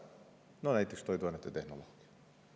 No näiteks toiduainete tehnolooge.